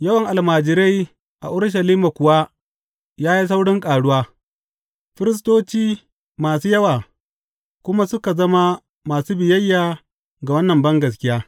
Yawan almajirai a Urushalima kuwa ya yi saurin ƙaruwa, firistoci masu yawa kuma suka zama masu biyayya ga wannan bangaskiya.